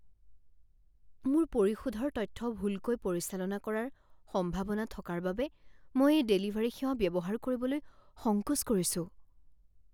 মোৰ পৰিশোধৰ তথ্য ভুলকৈ পৰিচালনা কৰাৰ সম্ভাৱনা থকাৰ বাবে মই এই ডেলিভাৰী সেৱা ব্যৱহাৰ কৰিবলৈ সংকোচ কৰিছোঁ।